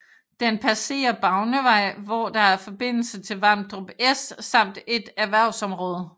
Den passerer Bavnevej hvor der er forbindelse til Vamdrup S samt et erhvervsområde